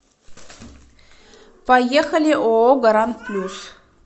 поехали ооо гарант плюс